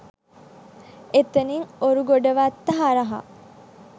එතැනින් ඔරුගොඩවත්ත හරහා